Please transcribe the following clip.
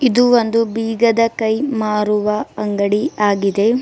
ಇದು ಒಂದು ಬೀಗದ ಕೈ ಮಾರುವ ಅಂಗಡಿ ಆಗಿದೆ.